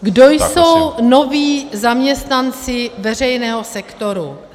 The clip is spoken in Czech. Kdo jsou noví zaměstnanci veřejného sektoru.